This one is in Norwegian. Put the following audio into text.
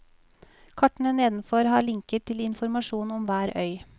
Kartene nedenfor har linker til informasjon om hver øy.